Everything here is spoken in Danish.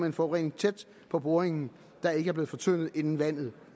en forurening tæt på boringen der ikke er blevet fortyndet inden vandet